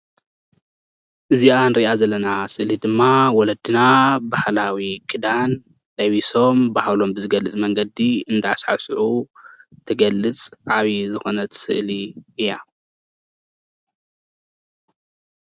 እዚአ ንርእያ ዘለና ስእሊ ድማ ወለድና ባህላዊ ክዳን ለቢሶም ባህሎም ብዝገልፅ መንገዲ እንዳ ሳዕስዑ ትገልፅ ዓቢ ዝኮነ ስእሊ እያ።